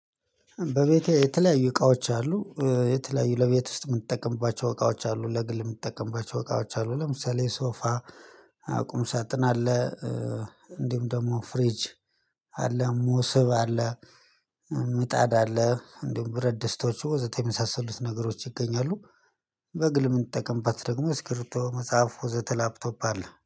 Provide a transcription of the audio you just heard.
በቤቴ የተለያዩ እቃዎች አሉ የተለያዩ ለቤት ውስጥ የምትጠቀምባቸው እቃዎች አሉ ለግል የምትጠቀምባቸው እቃዎች አሉ ለምሳሌ ሶፋ ቁም ሳጥን አለ። እንዲሁም ደግሞ ፍሪጅ አለ ሙስብ አለ። ምጣድ አለ እንዲሁም ብረት ደስታዎች ወዘተ የሚሳሰሉት ነገሮች ይገኛሉ። በግል የምንጠቀምባት ደግሞ ስክሪቶ መጽሐፍ ሆዜ ላፕቶፕ አለ